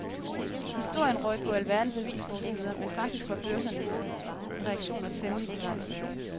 Historien røg på alverdens avisforsider, men faktisk var børsernes reaktioner temmelig begrænset.